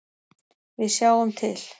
Við sjáum til.